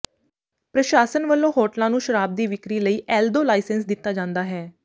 ਪ੍ਰਸ਼ਾਸਨ ਵੱਲੋਂ ਹੋਟਲਾਂ ਨੂੰ ਸ਼ਰਾਬ ਦੀ ਵਿਕਰੀ ਲਈ ਐਲ ਦੋ ਲਾਇਸੈਂਸ ਦਿੱਤਾ ਜਾਂਦਾ ਹੈ